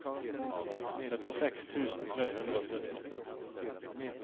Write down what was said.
syttiseks tusen tre hundre og sytti